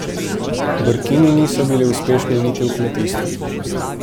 Brkini niso bili uspešni niti v kmetijstvu.